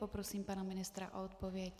Poprosím pana ministra o odpověď.